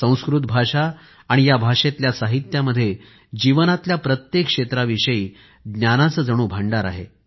संस्कृत भाषा आणि या भाषेतल्या साहित्यामध्ये जीवनातल्या प्रत्येक क्षेत्राविषयी ज्ञानाचं जणू भांडार आहे